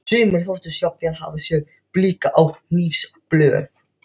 Sumir þóttust jafnvel hafa séð blika á hnífsblöð.